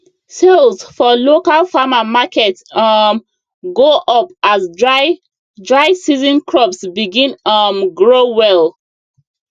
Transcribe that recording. sales for local farmer market um go up as dry dry season crops begin um grow well